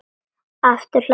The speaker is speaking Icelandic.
Aftur hlær hún.